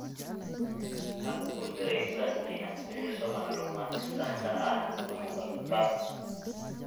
Ha ku guuldareysan inaad bixiso macluumaadka saxda ah mar walba.